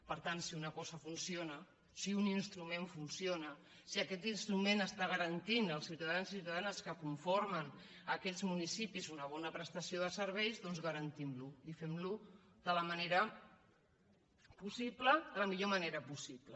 per tant si una cosa funciona si un instrument funciona si aquest instrument està garantint als ciutadans i ciutadanes que conformen aquests municipis una bona prestació de serveis doncs garantimlo i femlo de la millor manera possible